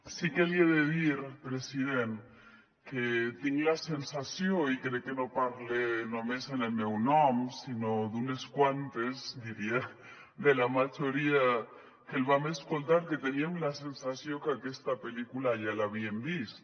sí que li he de dir president que tinc la sensació i crec que no parle només en el meu nom sinó d’unes quantes diria de la majoria que el vam escoltar que teníem la sensació que aquesta pel·lícula ja l’havíem vist